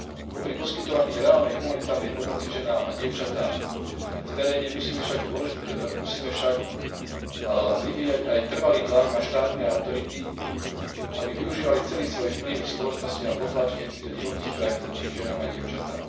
Popri poskytovaní reálnej humanitárnej pomoci ženám a dievčatám v teréne musíme však vyvíjať aj trvalý tlak na štátne autority, aby využívali celý svoj vplyv v spoločnosti na potlačenie týchto divokých praktík voči ženám a dievčatám.